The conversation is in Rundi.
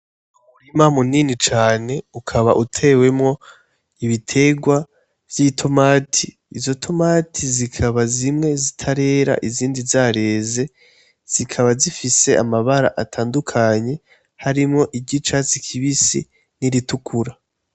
Umurima munini cane ukaba utewemwo ibiterwa vy'itomati izo tomati zikaba zimwe zitarera izindi zareze zikaba zifise amabara atandukanye harimwo iryicatsi kibisi n'iritukura.